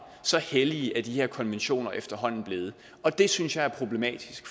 så hellige er de her konventioner efterhånden blevet og det synes jeg er problematisk